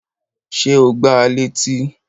Ṣé o gbá a létí?